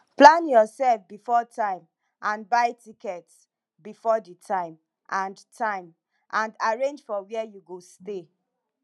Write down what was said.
plan yourself before time and buy tickets before di time and time and arrange for where you go stay